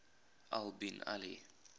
al bin ali